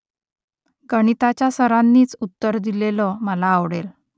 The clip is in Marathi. गणिताच्या सरांनीच उत्तर दिलेलं मला आवडेल